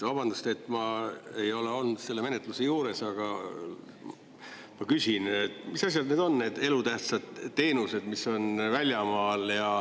Vabandust, ma ei ole olnud selle menetluse juures, aga ma küsin, mis asjad need on, need elutähtsad teenused, mis on väljamaal.